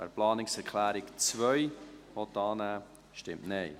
wer die Planungserklärung 2 annehmen will, stimmt Nein.